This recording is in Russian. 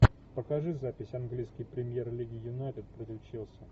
покажи запись английской премьер лиги юнайтед против челси